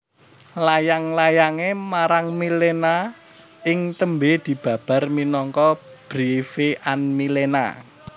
Layang layangé marang Milena ing tembé dibabar minangka Briefe an Milena